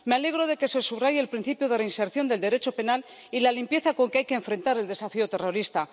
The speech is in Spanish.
Me alegro de que se subraye el principio de reinserción del Derecho penal y la limpieza con que hay que enfrentar el desafío terrorista.